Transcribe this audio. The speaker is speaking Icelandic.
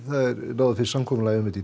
náðu fyrst samkomulagi um þetta